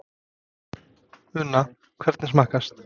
Una, hvernig smakkast?